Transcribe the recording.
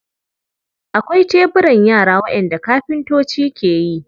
Akwai teburan yara waɗanda kafintoci ke yi.